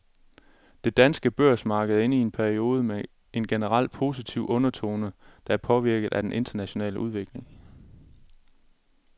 Det danske børsmarked er inde i en periode med en generelt positiv undertone, der er påvirket af den internationale udvikling.